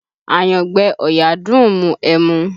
Àyangbẹ ọ̀yà dùn ún mu ẹmu